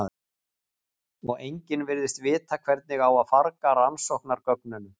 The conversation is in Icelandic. Og enginn virðist vita hvernig á að farga rannsóknargögnunum.